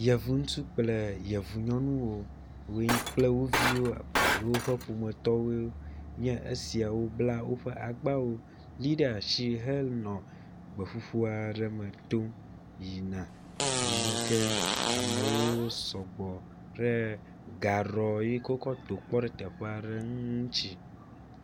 Yevu ŋutsu kple yevu nyɔnuwo kple wo viwo alo woƒe ƒometɔwo esiawo gbla woƒe agbawo li ɖe asi henɔ gbeƒuƒu aɖe me tom yina yime ke amewo sɔgbɔ ɖe gaɖɔ yike wokɔ to kpɔ ɖe teƒea ɖe ŋu ŋutsi.